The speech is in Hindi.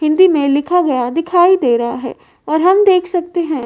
हिंदी में लिखा गया दिखाई दे रहा है और हम देख सकते हैं।